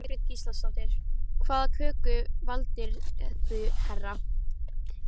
Jóhanna Margrét Gísladóttir: Hvaða köku valdirðu hérna?